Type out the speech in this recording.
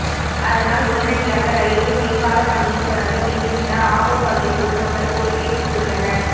அதனால் உடனடியாக ரயில்வே மேம்பாலப் பணியை தொடங்க வேண்டுமென ஆம்பூா் பகுதி பொதுமக்கள் கோரிக்கை விடுத்துள்ளனா்